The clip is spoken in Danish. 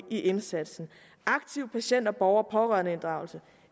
i indsatsen aktive patienter og borgerpårørende inddragelse